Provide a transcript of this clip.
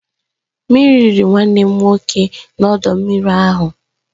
Mmiri riri nwanne m nwoke n'ọdọ mmiri ahụ